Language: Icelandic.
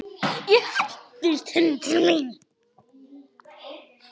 Ég hendist inn til mín.